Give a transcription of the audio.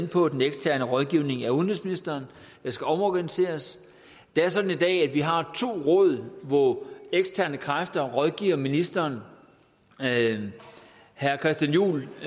på den eksterne rådgivning af udenrigsministeren der skal omorganiseres det er sådan i dag at vi har to råd hvor eksterne kræfter rådgiver ministeren herre christian juhl